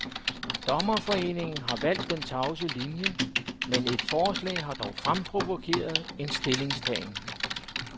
Dommerforeningen har valgt den tavse linie, men et forslag har dog fremprovokeret en stillingtagen.